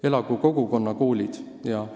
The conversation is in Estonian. Elagu kogukonnakoolid!